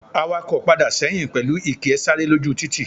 Awako padà sẹ́yìn pẹlu ìkí e sára lójú títì